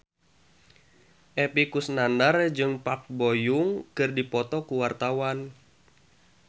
Epy Kusnandar jeung Park Bo Yung keur dipoto ku wartawan